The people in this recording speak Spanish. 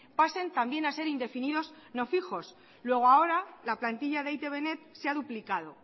pasen también a ser indefinidos no fijos luego ahora la plantilla de e i te be net se ha duplicado